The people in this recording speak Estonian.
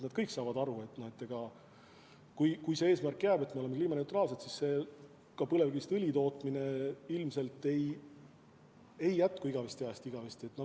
Nad kõik saavad aru, et kui see eesmärk jääb, et me oleme kliimaneutraalsed, siis ka põlevkivist õli tootmine ei jätku igavesest ajast igavesti.